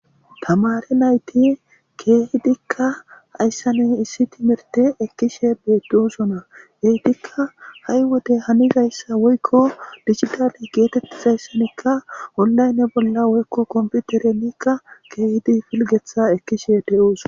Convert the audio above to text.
Tamare nayti keehidikka hayssanuy issi timirte ekkishe beedusona geetikka ha'y wodey hanizayssa woykko digitale geetettisayssanikka ollaynne bolla woykko komputerenikka keehidi filgetha ekkishe de'uuso.